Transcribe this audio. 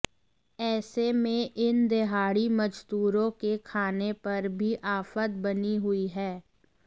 ऐसे में इन देहाड़ी मजदूरों के खाने पर भी आफत बनी हुई हैं